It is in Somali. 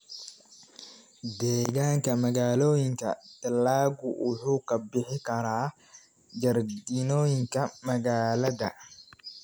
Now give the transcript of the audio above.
Deegaanka magaalooyinka, dalaggu wuxuu ka bixi karaa jardiinooyinka magaalada.